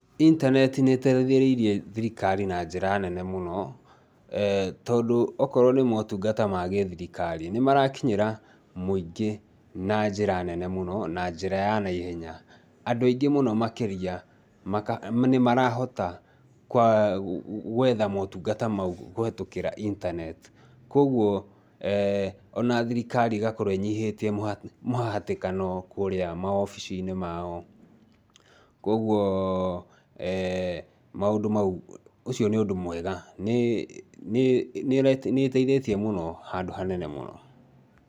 Intaneti nĩteithĩrĩirie thirikari na njĩra nene mũno tondũ okorwo nĩ motungata ma gĩthirikari nĩmarakinyĩra mũingĩ na njĩra nene mũno na njĩra ya naihenya. Andũ aingĩ mũno makĩria nĩ marahota gwetha motungata mau kũhetũkĩra internet , koguo ona thirikari nĩrakorwo ĩnyihĩtie mũhatikano kũrĩa maobiciinĩ mao. Koguo maũndũ mau ũcio nĩ ũndũ mwega, nĩ nĩĩteithĩtie mũno handũ hanene mũno.